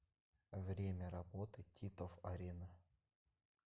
время работы титов арена